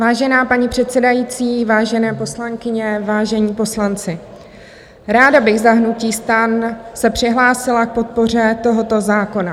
Vážená paní předsedající, vážené poslankyně, vážení poslanci, ráda bych za hnutí STAN se přihlásila k podpoře tohoto zákona.